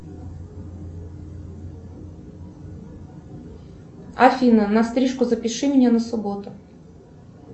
афина на стрижку запиши меня на субботу